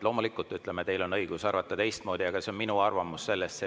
Loomulikult teil on õigus arvata teistmoodi, aga see on minu arvamus sellest.